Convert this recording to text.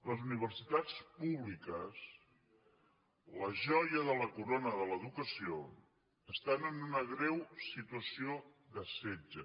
les universitats públiques la joia de la corona de l’educació estan en una greu situació de setge